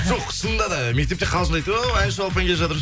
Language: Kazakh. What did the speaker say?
жоқ шынында да мектепте қалжыңдайды ғой оу әнші балапан келе жатыр